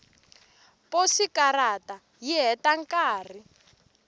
posikarata yi heta nkarhi